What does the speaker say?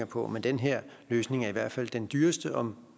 på men den her løsning er i hvert fald den dyreste og